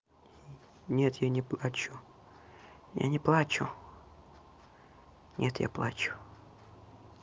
нет я не плачу я не плачу нет я плачу